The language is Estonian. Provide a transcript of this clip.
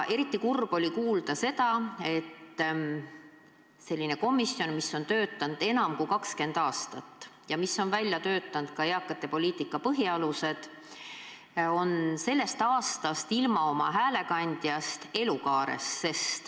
Eriti kurb oli kuulda, et see komisjon, mis on töötanud enam kui 20 aastat ja mis on välja töötanud eakate poliitika põhialused, on sellest aastast ilma oma häälekandjast Elukaar.